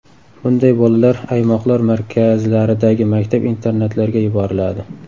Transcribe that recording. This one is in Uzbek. Bunday bolalar aymoqlar markazlaridagi maktab-internatlarga yuboriladi.